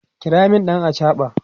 kira min ɗan achaɓa!